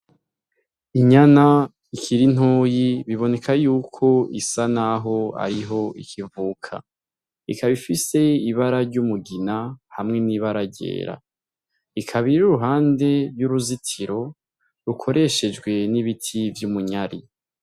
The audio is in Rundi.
Inyana ikira intoyi biboneka yuko isa, naho ariho ikivuka ikabifise ibara ry'umugina hamwe n'ibaragyera ikabira uruhande ry'uruzitiro rukoreshejwe n'ibiti vy'umunyari.